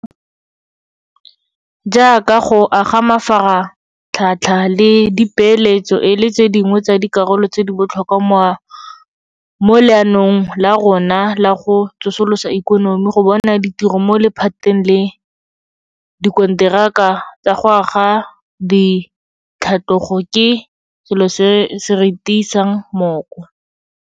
Jaaka go aga mafaratlhatlha le dipeeletso e le tse dingwe tsa dikarolo tse di botlhokwa mo leanong la rona la go tsosolosa ikonomi, go bona ditiro mo lephateng la dikonteraka tsa go aga di tlhatlogo ke selo se se re tiisang mooko.